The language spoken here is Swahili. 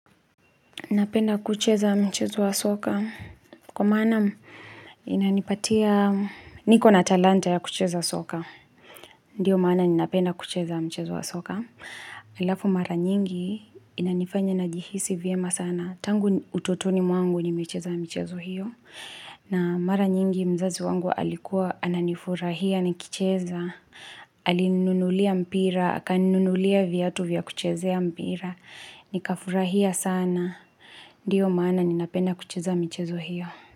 Napenda kucheza mchezo wa soka. Kwa maana inanipatia, niko na talanta ya kucheza soka. Ndio maana ninapenda kucheza mchezo wa soka. Halafu mara nyingi inanifanya na jihisi vyema sana. Tangu utotoni mwangu nimecheza michezo hiyo. Na mara nyingi mzazi wangu alikuwa, ananifurahia nikicheza. Alininunulia mpira, aka ninunulia viatu vya kuchezea mpira. Nikafurahia sana. Ndio maana ninapenda kucheza michezo hiyo.